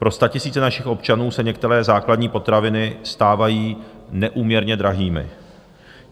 Pro statisíce našich občanů se některé základní potraviny stávají neúměrně drahými.